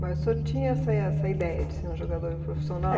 Mas o senhor tinha essa essa ideia de ser um jogador profissional?